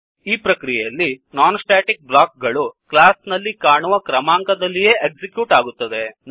ಈ ಪ್ರಕ್ರಿಯೆಯಲ್ಲಿ non static ಬ್ಲಾಕ್ಗಳು ಕ್ಲಾಸ್ ನಲ್ಲಿ ಕಾಣುವ ಕ್ರಮಾಂಕದಲ್ಲಿಯೇ ಎಕ್ಸಿಕ್ಯೂಟ್ ಆಗುತ್ತವೆ